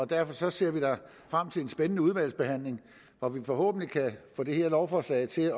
derfor ser vi da frem til en spændende udvalgsbehandling hvor vi forhåbentlig kan få det her lovforslag til